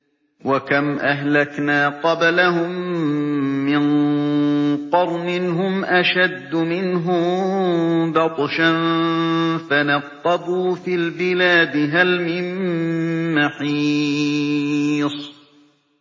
وَكَمْ أَهْلَكْنَا قَبْلَهُم مِّن قَرْنٍ هُمْ أَشَدُّ مِنْهُم بَطْشًا فَنَقَّبُوا فِي الْبِلَادِ هَلْ مِن مَّحِيصٍ